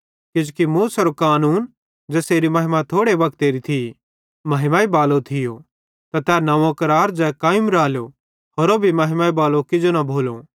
किजोकि मूसेरू कानूने ज़ेसेरी महिमा थोड़े वक्तेरे लेइ थी महिमा बालो थियो त तै नव्वों करार ज़ै कायम रालो होरू भी महिमा बालू किजो न भोलो